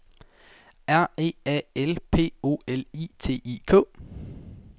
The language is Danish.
R E A L P O L I T I K